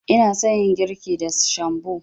Ina son yin girki da shambo.